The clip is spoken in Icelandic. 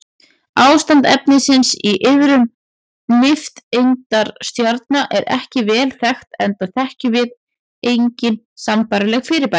Ástand efnisins í iðrum nifteindastjarna er ekki vel þekkt enda þekkjum við engin sambærileg fyrirbæri.